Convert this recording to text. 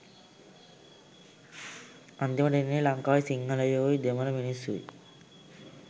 අන්තිමට වෙන්නේ ලංකාවේ සිංහලයොයි දෙමල මිනිස්සුයි